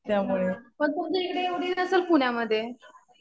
हा. पण तुमच्या इथं एवढी नसेल पुण्यामध्ये.